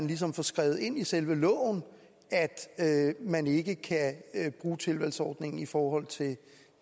ligesom får skrevet ind i selve loven at man ikke kan bruge tilvalgsordningen i forhold til